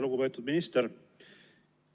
Lugupeetud minister!